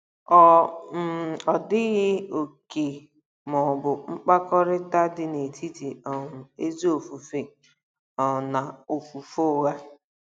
Ọ um dịghị òkè ma ọ bụ mkpakọrịta dị n'etiti um ezi ofufe um na ofufe ụgha.